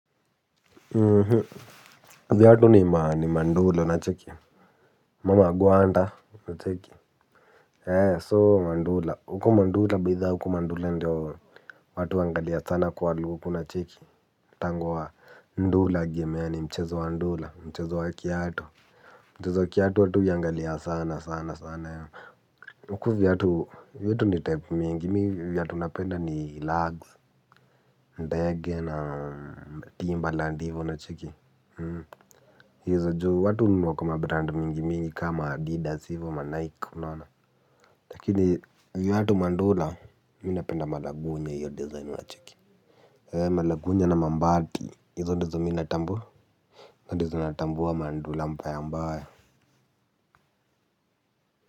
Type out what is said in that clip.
Viatu ni Mandula nacheki. Mama Gwanda nacheki. So Mandula. Huko Mandula bidhaa huko Mandula ndio watu huangalia sana kwa lupu na chiki. Tangwa Ndula gimea ni mchezo wa Ndula. Mchezo wa kiatu. Mchezo wa kiatu watu huiangalia sana sana sana ya. Huko viatu ni type mingi. Viatu napenda ni lags, ndege na timberland ndivo nacheki. Izo juu watu hununua kwa mabrand mingi mingi kama Adidas hivo wa ma Nike unaona. Lakini viatu mandula minapenda malagunye hiyo design wacheki We malagunye na mambati hizondizo minatambua. Ndizo natambua mandula mbaya mbaya.